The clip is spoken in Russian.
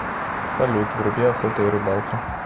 салют вруби охота и рыбалка